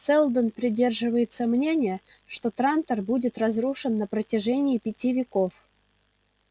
сэлдон придерживается мнения что трантор будет разрушен на протяжении пяти веков